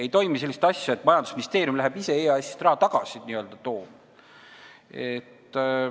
Ei toimu sellist asja, et majandusministeerium läheb ise EAS-ist n-ö raha tagasi tooma.